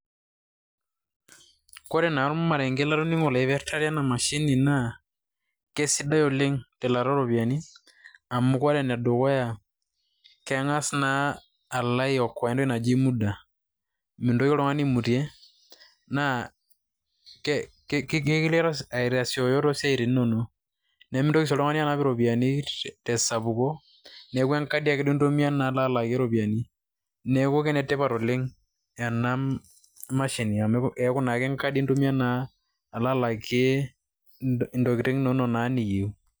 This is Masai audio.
Kore naa ormarenke latoning'o loipirtare enamashini naa, kesidai oleng' telaata oropiyiani amu kore enedukuya, keng'as naa alo aiokoa entoki naji muda. Mintoki oltung'ani aimute, na ekilo aitasioyoo to siaitin inonok. Nimintoki si oltung'ani anap iropiyiani tesapuko. Neeku enkadi duo intumia alo alakie iropiyiani. Neeku kenetipat oleng' ena mashini amu keeku nake enkadi intumia naa, alo alakie intokiting' inonok naa niyieu.